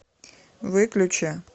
выключи